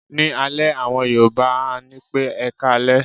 Ní alẹ́, àwọn Yorùbá á ní pé "ẹkáalẹ́".